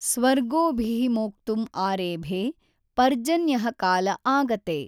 ಸ್ವರ್ಗೋಭಿಃ ಮೋಕ್ತುಮ್ ಆರೇಭೇ, ಪರ್ಜನ್ಯಃ ಕಾಲ ಆಗತೇ.